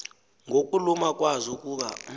ngokuluma kwazo ukuba